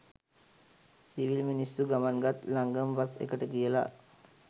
Civil මිනිස්සු ගමන් ගත් ලංගම බස් එකට කියලා.